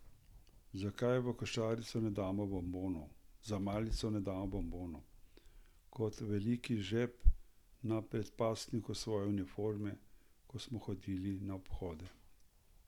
Zakaj v košaro za malico ne da bombonov, kot v veliki žep na predpasniku svoje uniforme, ko smo hodili na obhode?